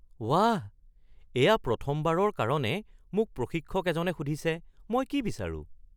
বাহ! এয়া প্ৰথমবাৰৰ কাৰণে মোক প্ৰশিক্ষক এজনে সুধিছে মই কি বিচাৰোঁ (ফিটনেছ প্ৰছপেক্ট)